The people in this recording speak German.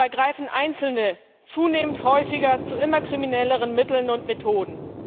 Und dabei greifen Einzelne zunehmend häufiger zu immer kriminelleren Mitteln und Methoden.